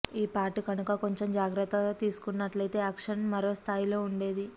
ఈ పార్ట్ కనుక కొంచెం జాగ్రత్త తీసుకున్నట్లైతే యాక్షన్ మరో స్థాయిలో ఉండేది